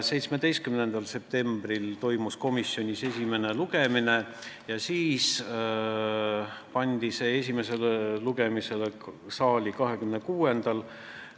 17. septembril toimus komisjonis esimene arutelu ja siis otsustati, et esimene lugemine saalis võiks olla 26. septembril.